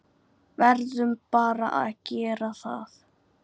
Verðum bara að gera það.